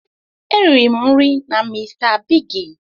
E riri m nri na mr bigi